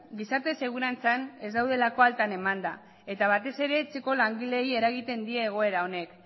gizarte segurantzan ez daudelako altan emanda eta batez ere etxeko langileei eragiten die egoera honek